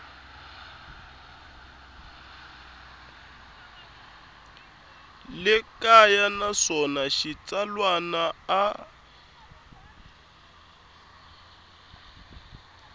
le kaya naswona xitsalwana a